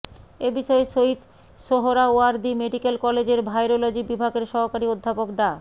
এ বিষয়ে শহীদ সোহরাওয়ার্দী মেডিক্যাল কলেজের ভাইরোলজি বিভাগের সহকারী অধ্যাপক ডা